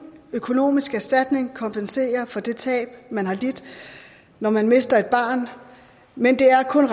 økonomisk erstatning kompensere for det tab man har lidt når man mister et barn men det er kun